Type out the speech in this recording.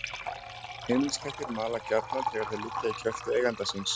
Heimiliskettir mala gjarnan þegar þeir liggja í kjöltu eiganda síns.